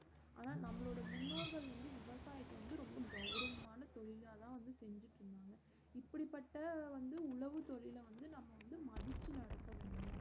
ஆனா நம்மளோட முன்னோர்கள் வந்து விவசாயத்த வந்து ரொம்ப கவுரவமான தொழில்லாதா வந்து செஞ்சுட்டு இருந்தாங்க இப்படி பட்ட வந்து உணவு தொழில வந்து நம்ம மதிச்சு நடக்க